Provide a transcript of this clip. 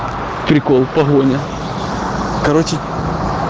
прикол погоня короче